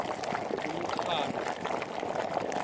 umqhano